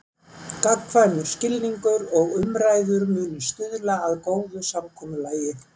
Gagnkvæmur skilningur og umræður muni stuðla að góðu samkomulagi.